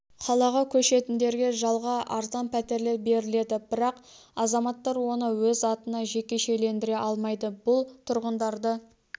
қалаға көшетіндерге жалға арзан пәтерлер беріледі бірақ азаматтар оны өз атына жекешелендіре алмайды бұл тұрғындарды